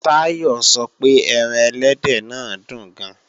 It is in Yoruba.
Táyọ̀ sọ pé ẹran ẹlẹ́dẹ̀ náà dùn gan